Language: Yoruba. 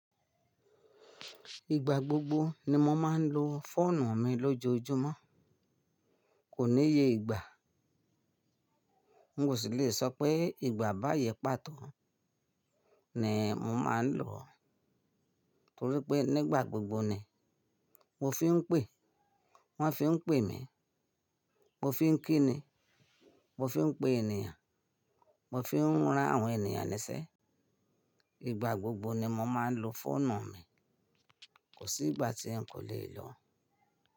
Ìgbà gbogbo ni mo máa ń lo fóònù mi lójoojúmọ́. Kò níye ìgbà, n osì lè sọ pé ìgbà bayi pàtó ni mo máa lòó, torí pé nígbà gbogbo ni mo fi ń pè, wọ́n fi ń pè mí, mo fi ń kí ni, mo fi ń pe ènìyàn, mo fi ń rán àwọn ènìyàn nise. Ìgbà gbogbo ni mo máa ń lo fóònù mi, kò sí ìgbà tí nkò le lo.